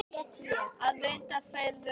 Það vita feður aldrei.